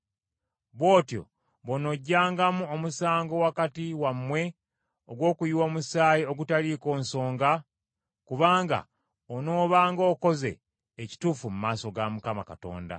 Bw’otyo bw’onoggyangawo omusango wakati wammwe ogw’okuyiwa omusaayi ogutaliiko nsonga, kubanga onoobanga okoze ekituufu mu maaso ga Mukama Katonda.